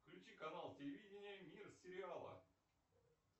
включи канал телевидения мир сериала